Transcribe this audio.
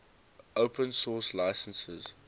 open source licenses